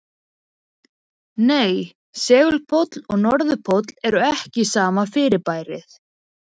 Nei, segulpóll og norðurpóll eru ekki sama fyrirbærið.